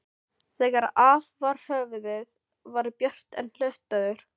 Þegar af var höfuðið var Björn enn hlutaður.